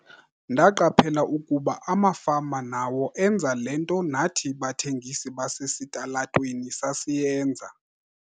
"Ndaqaphela ukuba amafama nawo enza le nto nathi bathengisi basesitalatweni sasiyenza."